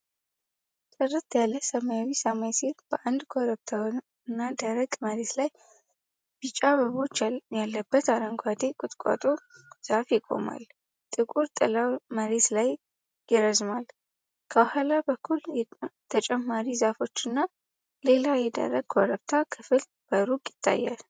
ጥርት ያለ ሰማያዊ ሰማይ ስር፣ በአንድ ኮረብታማና ደረቅ መሬት ላይ ቢጫ አበባዎች ያለበት አረንጓዴ ቁጥቋጦ ዛፍ ይቆማል። ጥቁር ጥላው መሬት ላይ ይረዝማል። ከኋላ በኩል ተጨማሪ ዛፎች እና ሌላ የደረቅ ኮረብታ ክፍል በሩቅ ይገኛሉ።